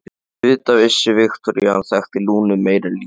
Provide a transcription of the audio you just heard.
Auðvitað vissi Viktoría að hann þekkti Lúnu meira en lítið.